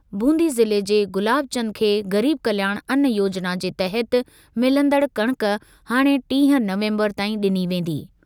बूंदी ज़िले जे गुलाब चंद खे गरीब कल्याण अन्न योजना जे तहत मिलंदड़ कणक हाणे टीह नवंबर ताईं ॾिनी वेंदी।